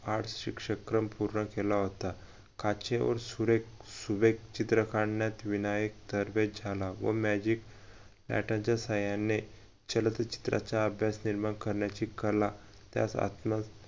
arts शिक्षकक्रम पूर्ण केला होता काचेवर सुरेख सुवेक चित्रक काढण्यात विनायक तरबेज झाला व magicpattern च्या साहाय्याने चित्राचा अभ्यास निर्माण करण्याची कला त्यात आत्म